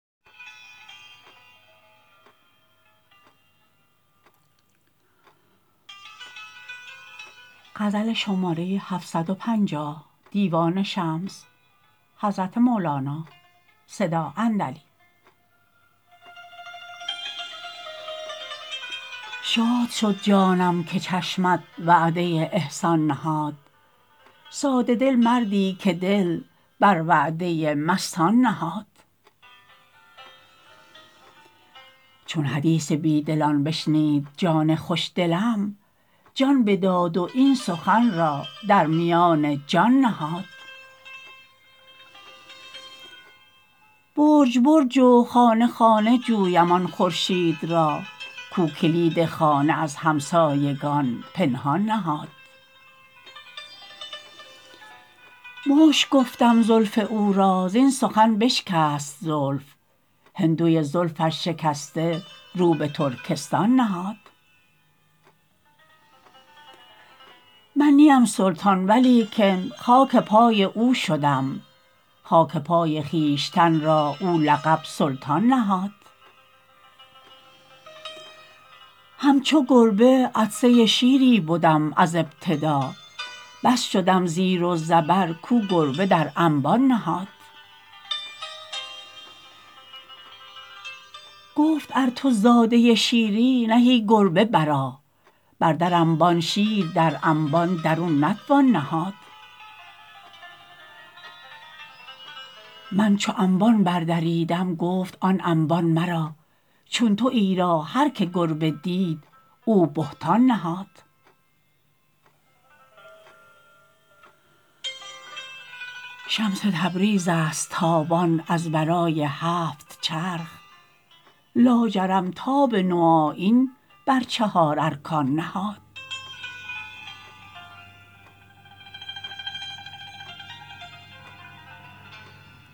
شاد شد جانم که چشمت وعده احسان نهاد ساده دل مردی که دل بر وعده مستان نهاد چون حدیث بیدلان بشنید جان خوش دلم جان بداد و این سخن را در میان جان نهاد برج برج و خانه خانه جویم آن خورشید را کو کلید خانه از همسایگان پنهان نهاد مشک گفتم زلف او را زین سخن بشکست زلف هندوی زلفش شکسته رو به ترکستان نهاد من نیم سلطان ولیکن خاک پای او شدم خاک پای خویشتن را او لقب سلطان نهاد همچو گربه عطسه شیری بدم از ابتدا بس شدم زیر و زبر کو گربه در انبان نهاد گفت ار تو زاده شیری نه ای گربه برآ بردر انبان شیر در انبان درون نتوان نهاد من چو انبان بردریدم گفت آن انبان مرا چون توی را هر که گربه دید او بهتان نهاد شمس تبریزی ست تابان از ورای هفت چرخ لاجرم تاب نوآیین بر چهارارکان نهاد